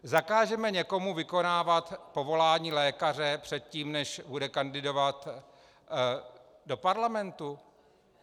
Zakážeme někomu vykonávat povolání lékaře předtím, než bude kandidovat do parlamentu?